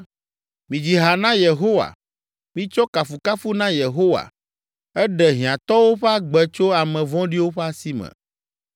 Midzi ha na Yehowa! Mitsɔ kafukafu na Yehowa! Eɖe hiãtɔwo ƒe agbe tso ame vɔ̃ɖiwo ƒe asi me.